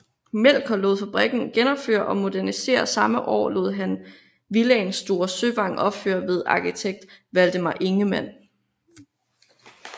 Melchior lod fabrikken genopføre og modernisere og samme år lod han villaen Store Søvang opføre ved arkitekt Valdemar Ingemann